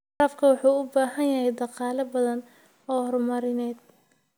Waraabku waxa uu u baahan yahay dhaqaale badan oo horumarineed.